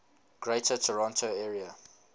greater toronto area